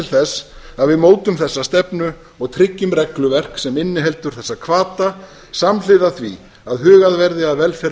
þess að við mótum þessa stefnu og tryggjum regluverk sem inniheldur þessa hvata samhliða því að hugað verði að velferð